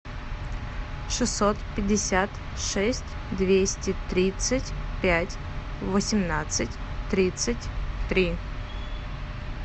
шестьсот пятьдесят шесть двести тридцать пять восемнадцать тридцать три